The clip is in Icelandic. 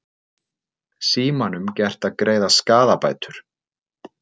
Símanum gert að greiða skaðabætur